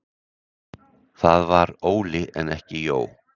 Það var Óli en ekki Jó